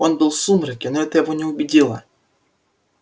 он был в сумраке но это его не убедило